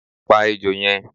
pa ejó yẹn